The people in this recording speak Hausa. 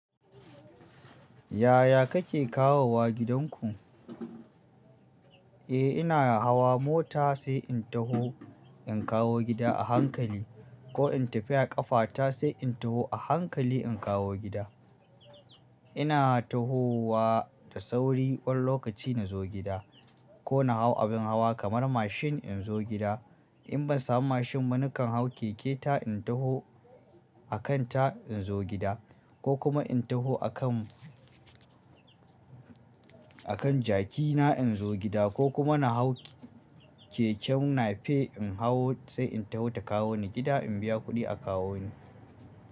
Yaya kake kawowa gidanku? Eh ina hawa mota sai in taho in kawo gida a hankali ko in tafi a ƙafata sai in taho a hankali in kawo gida. Ina tahowa da sauri kwan lokaci na zo gida ko na hau abin hawa kamar mashin in zo gida. In ban samu mashin ba nakan hau keke ta in taho akan ta in zo gida ko kuma in taho akan, akan jaki na inzo gida, ko kuma na hau keken nape in hawo sai in taho ta kawo ni gida in biya kuɗi a kawo ni.